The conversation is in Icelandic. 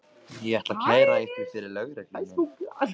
Ég ætla að kæra ykkur fyrir lögreglunni.